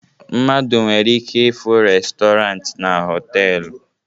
Mmadụ nwere ike ịfụ restọrant na họtelu